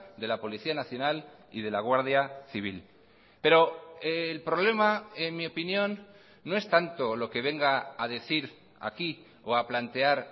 de la policía nacional y de la guardia civil pero el problema en mi opinión no es tanto lo que venga a decir aquí o a plantear